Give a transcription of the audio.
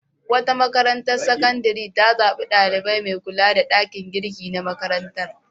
Wata makarantar sakandare ta zaɓi ɗalibai mai kula da ɗakin girki na makarantar.